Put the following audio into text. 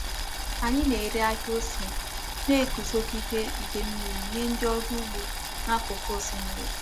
Anyị na-ere ahịa ose na-eguzogide ide mmiri nye ndị ọrụ ugbo n'akụkụ osimiri.